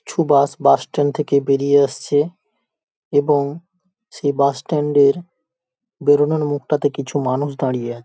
কিছু bus bus stand থেকে বেরিয়ে আসছে। এবং সে বাস স্ট্যান্ড এর বেরোনোর মুখটাতে কিছু মানুষ দাঁড়িয়ে --